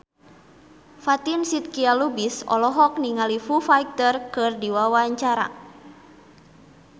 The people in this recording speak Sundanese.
Fatin Shidqia Lubis olohok ningali Foo Fighter keur diwawancara